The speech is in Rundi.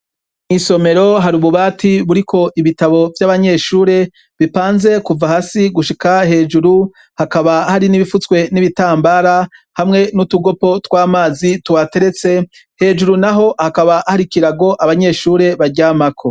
Mw'isomero hari ububati buriko ibitabo vy'abanyeshure bipanze kuva hasi gushika hejuru hakaba hari n'ibifutswe n'ibitambara hamwe n'utugopo tw'amazi tuhateretse, hejuru naho hakaba hari ikirago abanyeshure baryamako.